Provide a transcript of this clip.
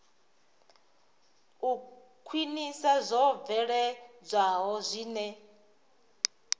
u khwinisa zwo bveledzwaho zwine